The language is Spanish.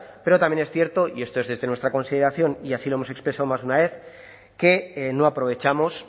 pero también es cierto y esto es desde nuestra consideración y así lo hemos expresado más de una vez que no aprovechamos